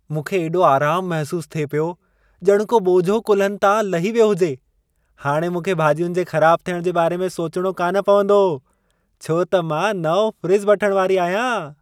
मूंखे एॾो आरामु महिसूस थिए पियो, ॼण को ॿोझो कुल्हनि तां लही वियो हुजे! हाणे मूंखे भाजि॒युनि जे ख़राबु थियणु जे बारे में सोचणो कान पवंदो, छो त मां नओं फ़्रिजु वठण वारी आहियां।